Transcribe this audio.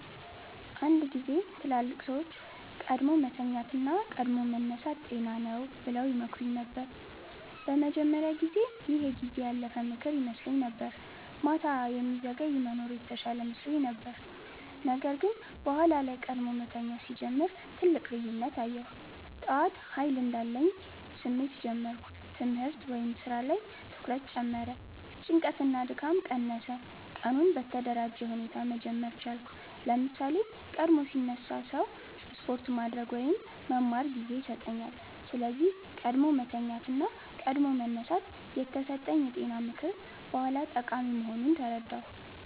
አንድ ጊዜ ትላልቅ ሰዎች “ቀድሞ መተኛት እና ቀድሞ መነሳት ጤና ነው” ብለው ይመክሩኝ ነበር። በመጀመሪያ ጊዜ ይህ የጊዜ ያለፈ ምክር ይመስለኝ ነበር፤ ማታ የሚዘገይ መኖር የተሻለ መስሎኝ ነበር። ነገር ግን በኋላ ላይ ቀድሞ መተኛት ሲጀምር ትልቅ ልዩነት አየሁ። ጠዋት ኃይል እንዳለኝ ስሜት ጀመርሁ ትምህርት/ስራ ላይ ትኩረት ጨመረ ጭንቀት እና ድካም ቀነሰ ቀኑን በተደራጀ ሁኔታ መጀመር ቻልኩ ለምሳሌ፣ ቀድሞ ሲነሳ ሰው ስፖርት ማድረግ ወይም መማር ጊዜ ያገኛል። ስለዚህ “ቀድሞ መተኛት እና ቀድሞ መነሳት” የተሰጠኝ የጤና ምክር በኋላ ጠቃሚ መሆኑን ተረዳሁ።